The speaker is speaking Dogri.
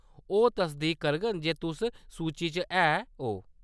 ओह् तसदीक करङन जे तुस सूची च है ओ।